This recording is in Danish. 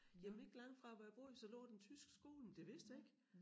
Jamen ikke langt fra hvor jeg boede så lå den tyske skole men det vidste jeg ikke